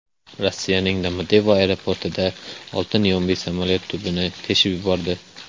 Rossiyaning Domodedovo aeroportida oltin yombi samolyot tubini teshib yubordi.